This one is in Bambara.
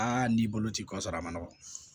n'i bolo ci kɔ sɔrɔ a ma nɔgɔn